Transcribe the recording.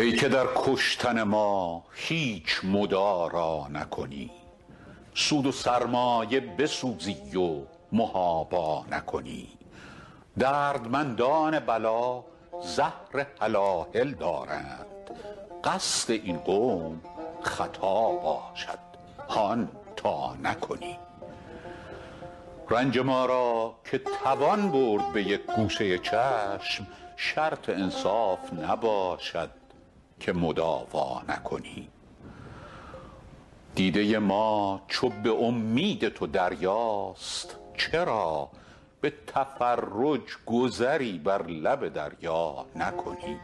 ای که در کشتن ما هیچ مدارا نکنی سود و سرمایه بسوزی و محابا نکنی دردمندان بلا زهر هلاهل دارند قصد این قوم خطا باشد هان تا نکنی رنج ما را که توان برد به یک گوشه چشم شرط انصاف نباشد که مداوا نکنی دیده ما چو به امید تو دریاست چرا به تفرج گذری بر لب دریا نکنی